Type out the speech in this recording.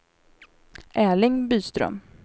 Erling Byström